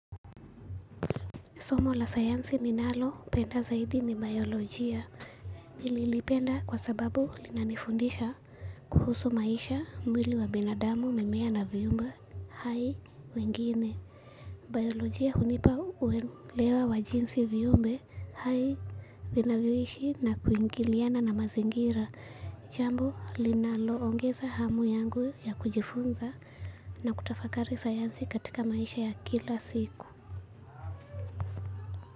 Somo la sayansi ninalopenda zaidi ni biolojia. Nililipenda kwa sababu linanifundisha kuhusu maisha mwili wa binadamu mimea na viumbe hai wengine. Biolojia hunipa uelewa wa jinsi viumbe hai vinavyoishi na kuingiliana na mazingira. Jambo linalo ongeza hamu yangu ya kujifunza na kutafakari sayansi katika maisha ya kila siku.